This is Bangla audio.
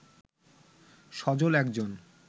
সজল একজন